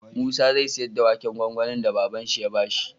Musa zai siyar da waken gwangwanin da baban shi ya bashi